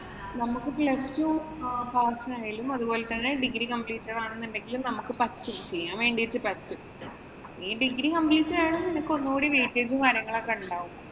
നമ്മക്ക് plus two pass ആയാലും, അതുപോലെ തന്നെ degree completed ആണെന്നുണ്ടെങ്കിലും പറ്റും. ചെയ്യാന്‍ വേണ്ടീട്ട് പറ്റും. നീ degree completed ആയോണ്ട് നിനക്ക് ഒന്നൂടി weightege ഉം, കാര്യങ്ങളും ഉണ്ടാവും.